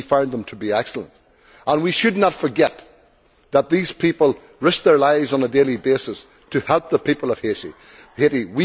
We found them to be excellent, and we should not forget that these people risk their lives on a daily basis to help the people of Haiti.